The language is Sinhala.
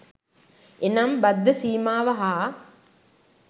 එනම් බද්ධ සීමාව හා